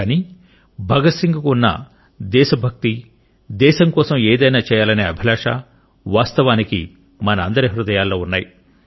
కానీ భగత్ సింగ్ కు ఉన్న దేశ భక్తి దేశం కోసం ఏదైనా చేయాలనే అభిలాష వాస్తవానికి మన అందరి హృదయాల్లో ఉన్నాయి